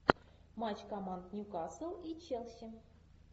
матч команд ньюкасл и челси